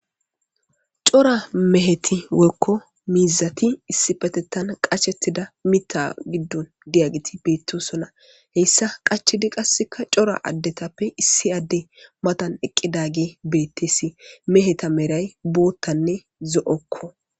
Cora meheti woykko miizati issi patettan qachettida mitta giddon diyagiti beettosona. Heyssa qachidi qasseka cora addetappe issi adde matan eqqidaage beettesi. Meheta meray boottanne zo7okko.